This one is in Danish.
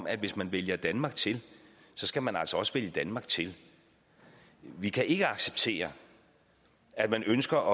at hvis man vælger danmark til skal man altså også vælge danmark til vi kan ikke acceptere at man ønsker